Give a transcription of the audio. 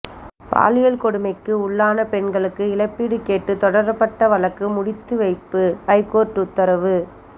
பாலியல் கொடுமைக்கு உள்ளான பெண்களுக்கு இழப்பீடு கேட்டு தொடரப்பட்ட வழக்கு முடித்து வைப்பு ஐகோர்ட்டு உத்தரவு